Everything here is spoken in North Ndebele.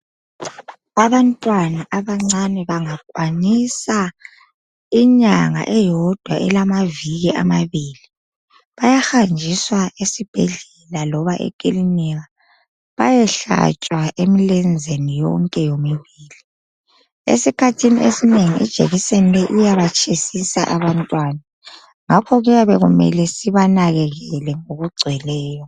Abantwana abancane bangakwanisa inyanga eyodwa elamaviki amabili bayahanjiswa esibhedlela loba ekilinika bayehlatshwa emlenzeni yonke yomibili. Esikhathini esinengi ijekiseni iyabatshisisa abantwana ngakho kuyamele sibanakekele ngokugcweleyo.